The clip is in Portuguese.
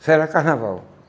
Isso era carnaval.